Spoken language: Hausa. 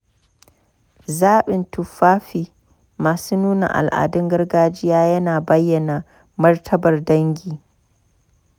Zabin tufafi masu nuna al’adun gargajiya ya na bayyana martabar dangi.